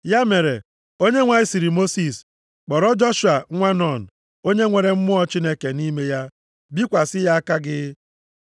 Ya mere, Onyenwe anyị sịrị Mosis, “Kpọrọ Joshua, nwa Nun, onye nwere mmụọ Chineke nʼime ya, bikwasị ya aka gị.